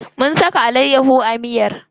Mun saka alayyaho a miyar.